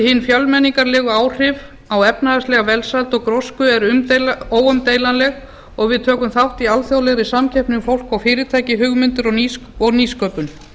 hin fjölmenningarlegu áhrif á efnahagslega velsæld og grósku eru óumdeilanleg og við tökum þátt í alþjóðlegri samkeppni um fólk og fyrirtæki hugmyndir og nýsköpun